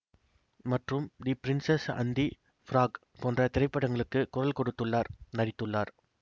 மற்றும் the princess and the frog போன்ற திரைப்படங்களுக்குக் குரல் கொடுத்துள்ளார் நடித்துள்ளார்